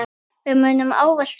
Við munum ávallt sakna þín.